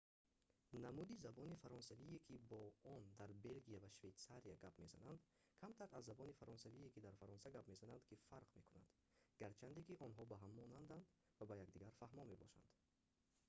намуди забони фаронсавие ки бо он дар белгия ва швейтсария гап мезананд камтар аз забони фаронсавие ки дар фаронса гап мезананд ки фарқ мекунанд гарчанде ки онҳо ба ҳам монанданд ва ба якдигар фаҳмо мебошанд